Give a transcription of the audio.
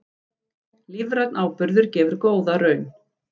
Lífrænn áburður gefur góða raun